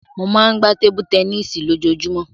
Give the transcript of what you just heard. Mo máa ń gbá tébú tẹníìsì lójoojúmọ́.